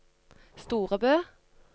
Storebø